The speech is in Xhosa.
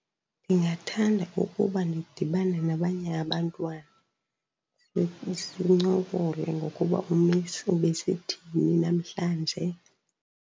Ndingathanda ukuba ndidibane nabanye abantwana sincokole ngokuba u-Miss ebesithini namhlanje.